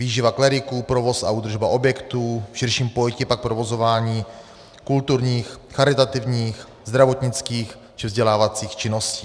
Výživa kleriků, provoz a údržba objektů, v širším pojetí pak provozování kulturních, charitativních, zdravotnických či vzdělávacích činností.